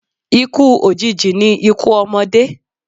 Ikú òjìji ni ikú ọmọdé.